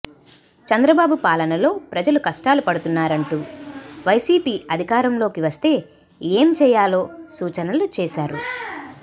చంద్రబాబు పాలనలో ప్రజలు కష్టాలు పడుతున్నారంటూ వైసీపీ అధికారంలోకి వస్తే ఏమేం చేయాలో సూచనలు చేశారు